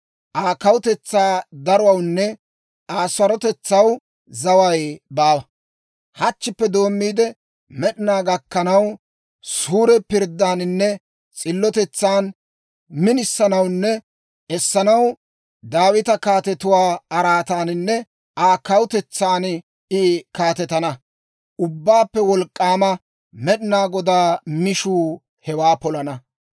Aa kawutetsaa daruwawunne Aa sarotetsaw zaway baawa; hachchippe doommiide, med'inaa gakkanaw, suure pirddaaninne s'illotetsan minisanawunne essanaw Daawita kaatetuwaa araataaninne Aa kawutetsan I kaatetana; Ubbaappe Wolk'k'aama Med'inaa Godaa mishuu hewaa polana.